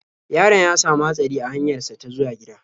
Yaron ya sami hatsari a hanyar sa ta zuwa gida.